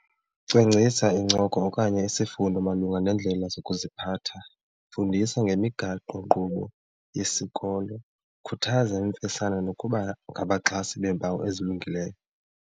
Cwangcisa incoko okanye isifundo malunga neendlela zokuziphatha, fundisa ngemigaqonkqubo yesikolo, khuthaza imfesana nokuba ngabaxhasi beempawu ezilungileyo.